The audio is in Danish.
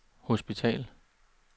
hospital